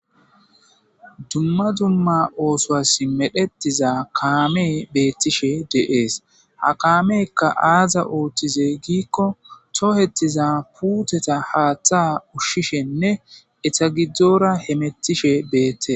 dumma dumma oosoas medhetiza kaame beettishe de7ees ha kaamekka aaza ooththize giikko tohettiza puuteta haaththa ushshishenne etagiddzora hemettishe beette